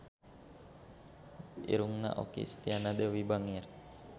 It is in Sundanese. Irungna Okky Setiana Dewi bangir